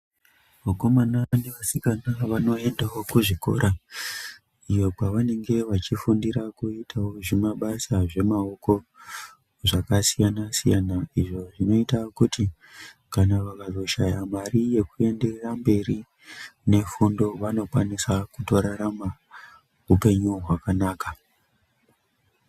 Vakomana nevasikana vanoendawo kuzvikora iyo kwaanenge vachifundira kuitawo zvimabasa zvemaoko zvakasiyanasiyana izvo zvinoita kuti kana vakazoshaya mari yekuenda mberi nefundo vanokwanisa kutorarama hupenyu hwakanaka.